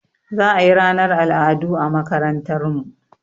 Za a yi ranar al'adu a makarantar mu